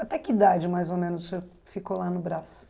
Até que idade, mais ou menos, o senhor ficou lá no Brás?